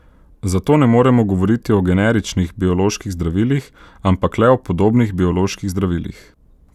Zato ne moremo govoriti o generičnih bioloških zdravilih, ampak le o podobnih bioloških zdravilih.